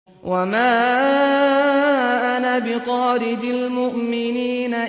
وَمَا أَنَا بِطَارِدِ الْمُؤْمِنِينَ